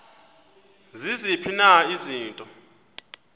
ziziphi na izinto